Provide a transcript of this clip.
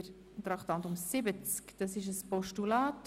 Als nächstes behandeln wir ein Postulat.